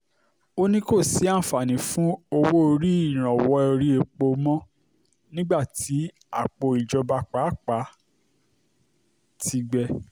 ó ní kò sí àǹfààní fún owó ìrànwọ́ orí epo mọ́ nígbà tí àpò ìjọba àpapọ̀ pàápàá ti gbẹ